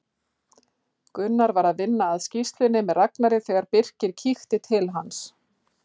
Gunnar var að vinna að skýrslunni með Ragnari þegar Birkir kíkti til hans.